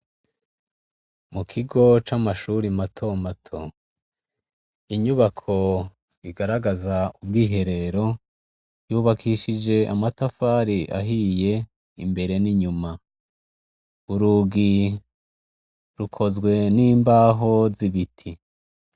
Mukigo ca mashure mato mato inyubako igaragaza ubwiherero yubakishijwe amatafari ahiye imbere n'inyuma urugi rukozwe n'imbaho zibiti.